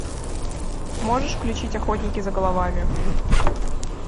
можешь включить охотники за головами